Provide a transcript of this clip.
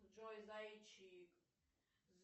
джой зайчик